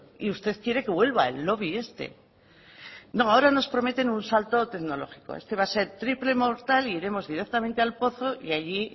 y usted quiere que vuelva el lobby este no ahora nos prometen un salto tecnológico este va a ser triple mortal e iremos directamente al pozo y allí